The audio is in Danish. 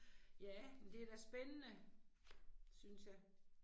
Ja, det er da spændende. Synes jeg